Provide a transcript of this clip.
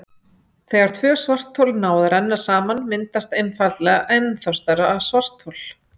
þegar tvö svarthol ná að renna saman myndast einfaldlega ennþá stærra svarthol